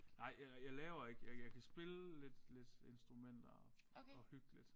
Nej jeg jeg laver ikke jeg jeg kan spille lidt lidt instrumenter og hygge lidt